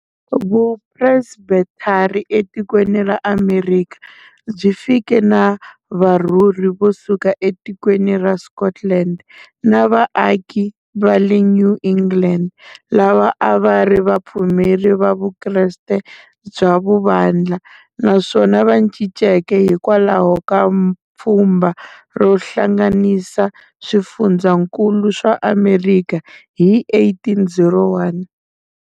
Vu Presbethari e tikweni ra Amerikha byi fike na varhurhi vo suka e tikweni ra Scotland, na va aki vale New England, lava ava ri va pfumeri va vukreste bya vuvandla, naswona va cinceke hikwalaho ka pfumba ro hlanganisa swifundzankulu swa Amerikha hi 1801.